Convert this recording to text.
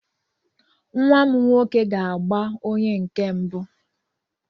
Nwa m nwoke ga-agba onye nke mbụ.